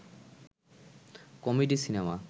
comedy cinema